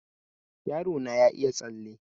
Yaro na ya iya tsalle